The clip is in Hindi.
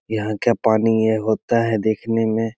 यहाँ का पानी ये होता है देखने में।